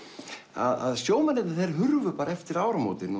að sjómennirnir þeir hurfu bara eftir áramótin